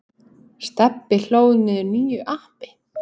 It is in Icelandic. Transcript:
Stebbi hlóð niður nýju appi.